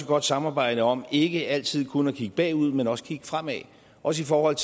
godt samarbejde om ikke altid kun at kigge bagud men også at kigge fremad også i forhold